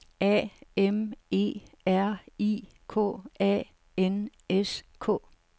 A M E R I K A N S K